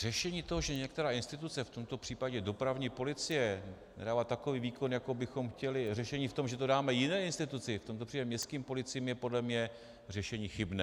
Řešení toho, že některá instituce, v tomto případě dopravní policie, nedává takový výkon, jako bychom chtěli, řešení v tom, že to dáme jiné instituci, v tomto případě městským policiím, je podle mě řešení chybné.